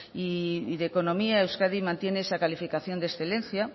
y de economía euskadi mantiene esa calificación de excelencia